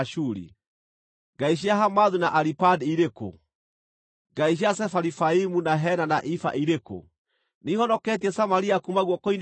Ngai cia Hamathu na Aripadi irĩ kũ? Ngai cia Sefarivaimu, na Hena na Iva irĩ kũ? Nĩihonoketie Samaria kuuma guoko-inĩ gwakwa?